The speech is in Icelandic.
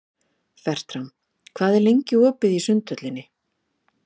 Fertram, hvað er lengi opið í Sundhöllinni?